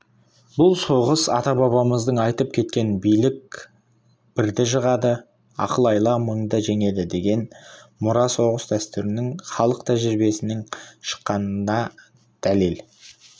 бұл соғыс ата-бабамыздың айтып кеткен білек бірді ақыл-айла мыңды жеңеді деген мұра соғыс дәстүрінің халық тәжірибесінен шыққандығына дәлел